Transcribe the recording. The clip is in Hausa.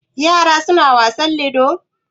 Yara suna wasan ludo?